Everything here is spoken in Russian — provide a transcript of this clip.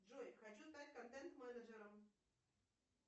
джой хочу стать контент менеджером